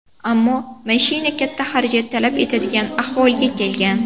Ammo mashina katta xarajat talab etadigan ahvolga kelgan.